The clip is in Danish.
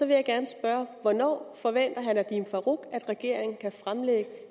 jeg gerne spørge hvornår forventer herre nadeem farooq at regeringen kan fremlægge